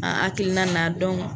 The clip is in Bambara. An hakilina na